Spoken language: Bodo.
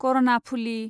करनाफुलि